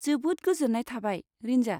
जोबोद गोजोन्नाय थाबाय, रिनजा।